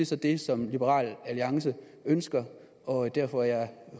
så det som liberal alliance ønsker og derfor